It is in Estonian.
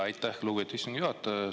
Aitäh, lugupeetud istungi juhataja!